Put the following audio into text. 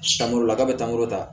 Sankɔrɔla ka bɛ taa n kɔrɔ ta